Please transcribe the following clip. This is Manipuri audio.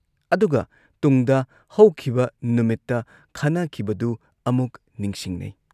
ꯑꯗꯨꯒ ꯇꯨꯡꯗ ꯍꯧꯈꯤꯕ ꯅꯨꯃꯤꯠꯇ ꯈꯟꯅꯈꯤꯕꯗꯨ ꯑꯃꯨꯛ ꯅꯤꯡꯁꯤꯡꯅꯩ